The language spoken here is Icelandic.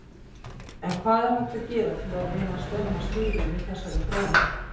En hvað er hægt að gera til að reyna stemma stigu við þessari þróun?